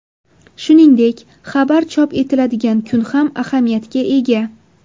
Shuningdek, xabar chop etiladigan kun ham ahamiyatga ega.